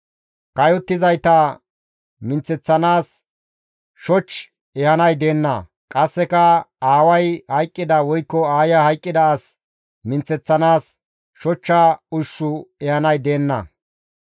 Kayottizayta minththeththanaas shoch ehanay deenna; qasseka aaway hayqqida woykko aaya hayqqida as minththeththanaas shochcha ushshu ehanay deenna.